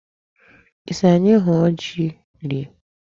Ị sị anyị hụọ ji rie?